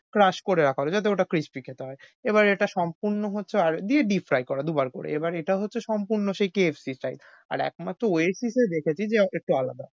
crush করে রাখা হোল যাতে ওটা crispy খেতে হয়। এবার এটা সম্পূর্ণ হচ্ছে দিয়ে fry করা দুবার করে। এবার এটা হচ্ছে সম্পূর্ণ সেই KFC style আর একমাত্র Oasis এ দেখেছি একটু আলাদা।